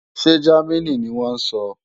Ṣé Jámínì ni wọ́n ń sọ?